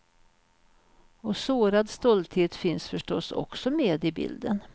Och sårad stolthet finns förstås också med i bilden.